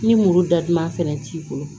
Ni muru datugulan fɛnɛ t'i bolo